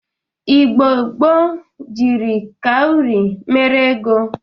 Igbo gboo jiri kauri mere ego.